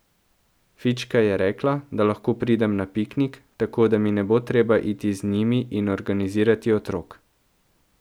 Fička je rekla, da lahko pridem na piknik, tako da mi ne bo treba iti z njimi in organizirati otrok.